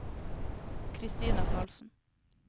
Kristina Carlsen